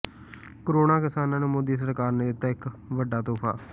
ਕਰੋੜਾਂ ਕਿਸਾਨਾਂ ਨੂੰ ਮੋਦੀ ਸਰਕਾਰ ਨੇ ਦਿੱਤਾ ਇਹ ਵੱਡਾ ਤੋਹਫ਼ਾ